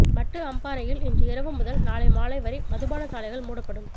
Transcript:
மட்டு அம்பாறையில் இன்று இரவு முதல் நாளை மாலை வரை மதுபானசாலைகள் மூடப்படும்